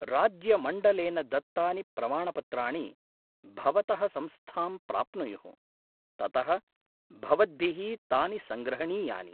राज्यमण्डलेन दत्तानि प्रमाणपत्राणि भवतः संस्थां प्राप्नुयुः, ततः भवद्भिः तानि संग्रहणीयानि।